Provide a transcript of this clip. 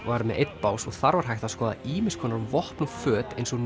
var með einn bás en þar var hægt að skoða ýmiss konar vopn og föt eins og